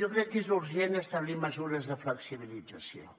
jo crec que és urgent establir mesures de flexibilització